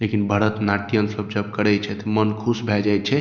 लेकिन भरत नाट्यम सब जब करे छै ते मन खुश भाय जाय छै।